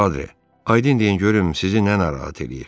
Padri, aydın deyin görüm sizi nə narahat eləyir?